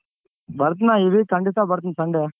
ಬರ್ತ್ನ ಈ week ಖಂಡಿತಾ ಬರ್ತಿನ್ sunday.